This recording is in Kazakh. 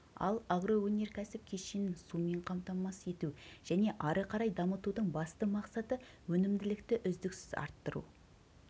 ал агроөнеркәсіп кешенін сумен қамтамасыз ету және ары қарай дамытудың басты мақсаты өнімділікті үздіксіз арттыру